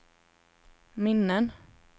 minnen